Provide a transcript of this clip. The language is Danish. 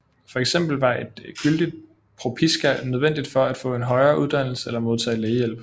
For eksempel var et gyldigt propiska nødvendigt for at få en højere uddannelse eller modtage lægehjælp